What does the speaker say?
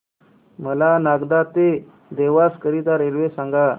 मला नागदा ते देवास करीता रेल्वे सांगा